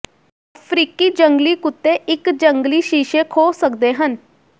ਅਫ਼ਰੀਕੀ ਜੰਗਲੀ ਕੁੱਤੇ ਇਕ ਜੰਗਲੀ ਸ਼ੀਸ਼ੇ ਖੋਹ ਸਕਦੇ ਹਨ